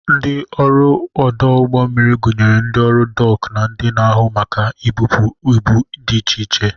Ndị ọrụ ọdụ ụgbọ mmiri gụnyere ndị ọrụ dọk na ndị na-ahụ maka ibụpu ibu dị iche iche.